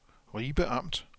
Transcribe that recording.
Ribe Amt